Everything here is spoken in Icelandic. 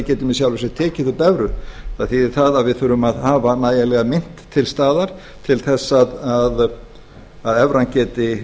getum í sjálfu sér tekið upp evrur það þýðir að við þurfum að hafa nægilega mynt til staðar til að evran geti